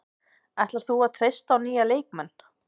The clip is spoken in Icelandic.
Ætlar þú að treysta á nýja leikmenn?